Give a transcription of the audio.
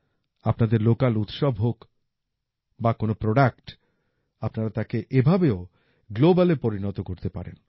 আপনাদের লোকাল উৎসব হোক বা কোন প্রোডাক্ট আপনারা তাকে এভাবেও গ্লোবালে পরিণত করতে পারেন